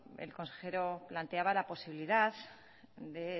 el consejero planteaba la posibilidad de